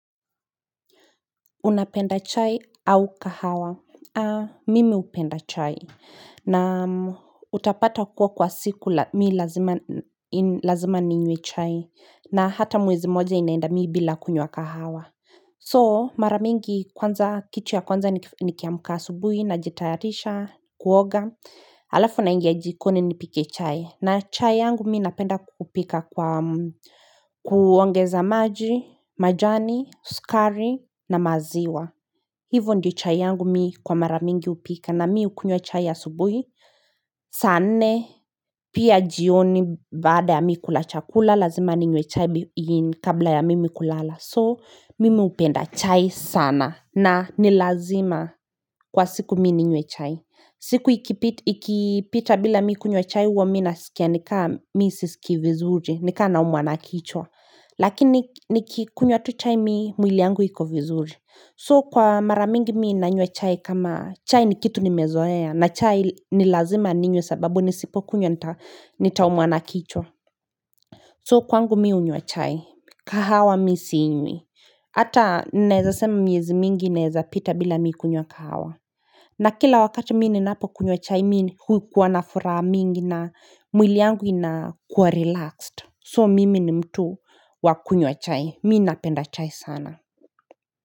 Unapenda chai au kahawa mimi hupenda chai na utapata kuwa kwa siku mi lazima ninywe chai na hata mwezi moja inaenda mi bila kunywa kahawa So maramingi kwanza kichu ya kwanza nikiamka asubuhi najitayarisha kuoga alafu naingia jikoni nipike chai na chai yangu mi napenda kupika kwa kuongeza maji, majani, sukari na maziwa hivo ndio chai yangu mi kwa maramingi hupika na mi hukunywa chai ya subuhi saa nne pia jioni baada ya mi kula chakula lazima ninywe chai kabla ya mimi kulala so mimi hupenda chai sana na ni lazima kwa siku mi ninywe chai siku ikipita bila mi kunywa chai huwa mi nasikia nikaa mi si sikii vizuri, nikaa naumwa na kichwa Lakini nikikunywa tu chai mi mwili yangu iko vizuri So kwa maramingi mi nanywa chai kama chai ni kitu nimezoea na chai ni lazima ninywe sababu nisipo kunywa nita umwa na kichwa So kwangu mi hunywa chai, kahawa mi sinywi Ata naeza sema miezi mingi inaeza pita bila mi kunywa kahawa na kila wakati mi ninapo kunywa chai mi hukuwa na furaha mingi na mwili yangu inakuwa relaxed so mimi ni mtu wa kunywa chai mi napenda chai sana.